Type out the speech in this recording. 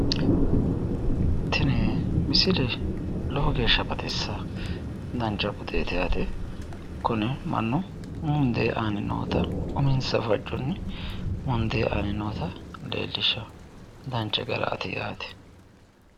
Tini misile lowo geeshsha baxissanno. Dancha budeeti yaate. Kuni mannu mundee aanni noota uminsa fajjonni mundee aanni noota leellishshawo. Dancha garaati.